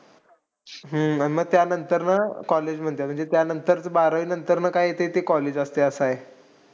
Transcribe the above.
हम्म आणि मग त्यानंतर ना college म्हणतात. त्यानंतर ना बारावीनंतर काय येतं ते college असतं असंय.